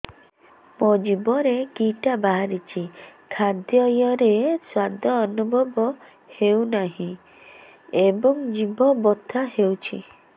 ମୋ ଜିଭରେ କିଟା ବାହାରିଛି ଖାଦ୍ଯୟରେ ସ୍ୱାଦ ଅନୁଭବ ହଉନାହିଁ ଏବଂ ଜିଭ ବଥା ହଉଛି